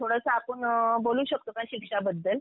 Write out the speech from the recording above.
थोडंसं आपण बोलू शकतो का शिक्षा बद्दल?